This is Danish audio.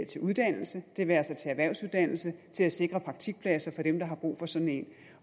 til uddannelse det være sig til erhvervsuddannelse til at sikre praktikpladser for dem der har brug for sådan en